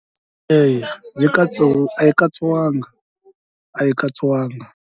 Eya yi a yi katsiwanga a yi katsiwanga.